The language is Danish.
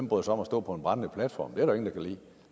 bryder sig om at stå på en brændende platform er der kan lide